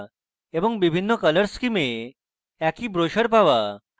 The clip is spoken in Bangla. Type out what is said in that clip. এবং বিভিন্ন colour স্কিমে একই ব্রোসার পাওয়া